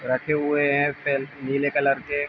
रखे हुए हैं नीले कलर के।